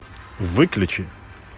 выключи